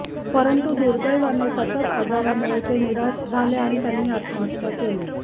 परंतु दुर्दैवाने सततचा आजारामुळे ते निराश झाले आणि त्यांनी आत्महत्या केली